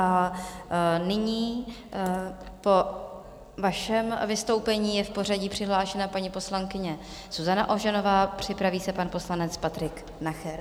A nyní po vašem vystoupení je v pořadí přihlášená paní poslankyně Zuzana Ožanová, připraví se pan poslanec Patrik Nacher.